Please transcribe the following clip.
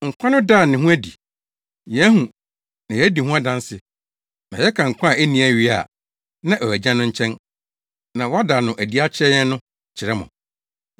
Nkwa no daa ne ho adi; yɛahu na yɛadi ho adanse, na yɛka nkwa a enni awiei a na ɛwɔ Agya no nkyɛn na wɔada no adi akyerɛ yɛn no kyerɛ mo.